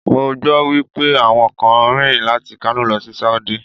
Mo gbọ́ wípé àwọn kan rìn láti Kano lọ sí Sáúdí.